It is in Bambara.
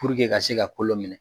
ka se ka kolo minɛ